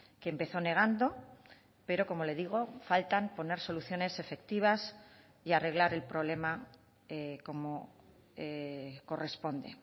que empezó negando pero como le digo faltan poner soluciones efectivas y arreglar el problema como corresponde